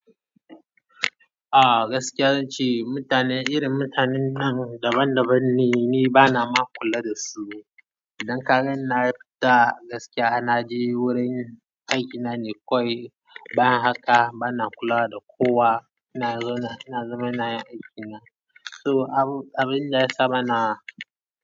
Ah gaskiya zan ce mutanen irin mutanen nan daban daban ne, ni bana ma kula da su. Idan kaganni nayi fita gaskiya na je wurin aikina ne kawai. Bayan haka bana kula da kowa. Ina zauna, ina zaman ina yin aikina. So abun da ya sama na.